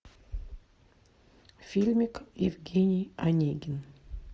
фильмик евгений онегин